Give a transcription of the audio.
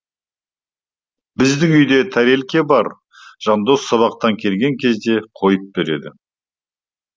біздің үйде тәрелке бар жандос сабақтан келген кезде қойып береді